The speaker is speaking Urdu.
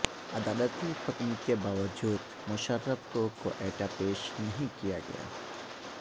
عدالتی حکم کے باوجود مشرف کو کوئٹہ پیش نہیں کیا گیا